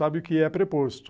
Sabe o que é preposto?